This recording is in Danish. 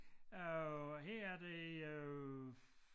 Øh her der øh